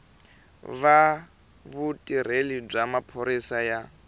va vutirheli bya maphorisa ya